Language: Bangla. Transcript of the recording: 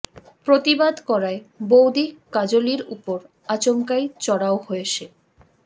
প্রতিবাদ করায় বৌদি কাজলির উপর আচমকাই চড়াও হয় সে